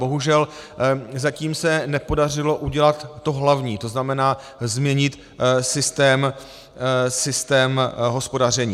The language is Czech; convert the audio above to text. Bohužel zatím se nepodařilo udělat to hlavní, to znamená změnit systém hospodaření.